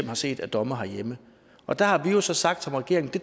har set af domme herhjemme der har vi jo så sagt som regering at det